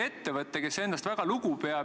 Aitäh, hea juhataja!